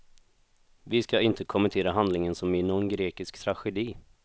Vi ska inte kommentera handlingen som i någon grekisk tragedi.